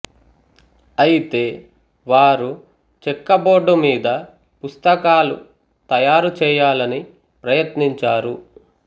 అయితే వారు చెక్క బోర్డు మీద పుస్తకాలు తయారు చేయాలని ప్రయత్నిం చారు